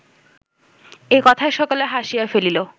এ কথায় সকলে হাসিয়া ফেলিল